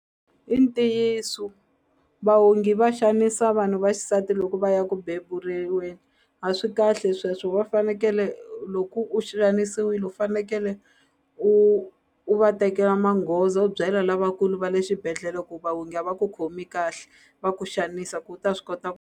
I ntiyiso vaongi va xanisa vanhu va xisati loko va ya ku a swi kahle sweswo va fanekele loku u xanisiwile u fanekele u u va tekela manghoza u byela lavakulu va le xibedhlele ku vaongi a va ku khomi kahle va ku xanisa ku u ta swi kota.